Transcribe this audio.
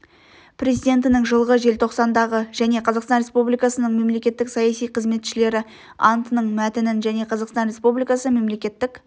президентінің жылғы желтоқсандағы және қазақстан республикасының мемлекеттік саяси қызметшілері антының мәтінін және қазақстан республикасы мемлекеттік